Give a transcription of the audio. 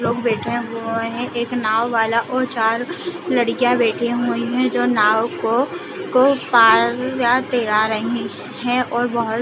लोग बैठे हुए है एक नाँव वाला और चार लड़कियां बैठी हुई है जो नाव को को पार करा रही है और बहु --